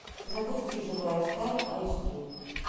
запусти живая сталь айч ди